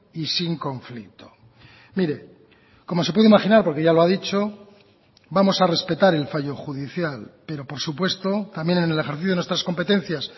y sin conflicto mire como se puede imaginar porque ya lo ha dicho vamos a respetar el fallo judicial pero por supuesto también en el ejercicio de nuestras competencias